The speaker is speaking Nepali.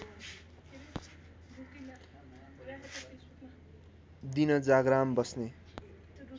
दिन जाग्राम बस्ने